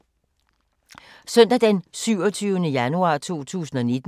Søndag d. 27. januar 2019